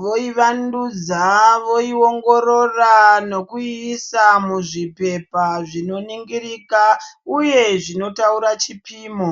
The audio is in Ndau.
voivandudza voiongorora nekuiisa muzvipepa zvinoringirika uye zvinotaura chipimo.